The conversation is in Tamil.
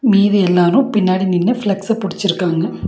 மீதி எல்லாரு பின்னாடி நின்னு ஃபிளக்ஸ் ஸ புடிச்சிருக்காங்க.